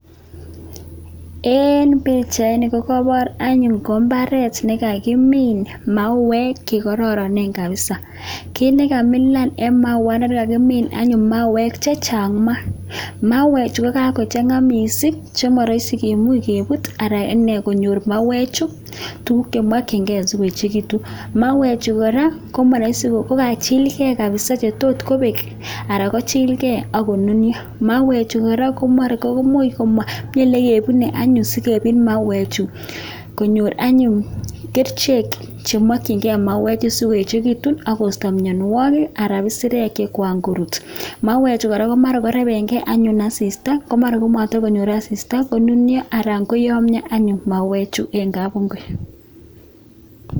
Eng pichaini kokaipoor anyun ko imbaaret nekakimiin mauwek che kararanen kapsa, kiit nekamilan eng mauwandani kakimiin anyun mauwek chechang maa. Mauwek chu kokakochanga mising che maraisi kemuch keput anan inee konyor mauwechu tuuguk chemakchinkei sikoechekitun, mauwechu kora komaraisi kokachilkei mising che tot kobek anan kochilkei ako nunio. Mauwechuk kora ko mara komami ole kebune sikemuch kepit mauwechu konyor anyun kerichek chemakchinkei mauwechu sikoechekitun ako isto mianwokik anan isirek chekan koruut. Mauwechu kora ko mara korepenkei anyun asista, ko mara matakonyor anyun asista konunio anan koyomio anyun mauwechu anyun eng kapungui.